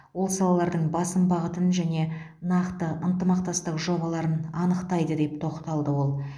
ол салалардың басым бағытын және нақты ынтымақтастық жобаларын анықтайды деп тоқталды ол